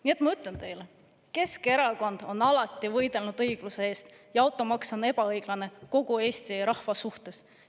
Nii et ma ütlen teile: Keskerakond on alati võidelnud õigluse eest ja automaks on ebaõiglane kogu Eesti rahva suhtes.